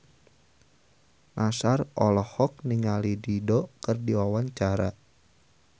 Nassar olohok ningali Dido keur diwawancara